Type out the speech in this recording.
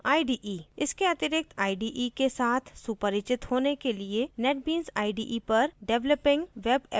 इसके अतिरिक्त ide के साथ सुपरिचित होने के लिए netbeans ide पर developing web applications और